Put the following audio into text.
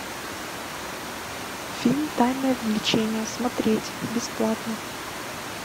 фильм тайное влечение смотреть бесплатно